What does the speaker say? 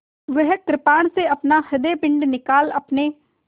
वह कृपाण से अपना हृदयपिंड निकाल अपने